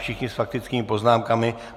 Všichni s faktickými poznámkami.